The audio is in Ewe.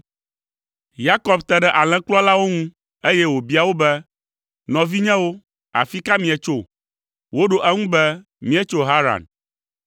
Yakob te ɖe alẽkplɔlawo ŋu, eye wòbia wo be, “Nɔvinyewo, afi ka míetso?” Woɖo eŋu be, “Míetso Haran.”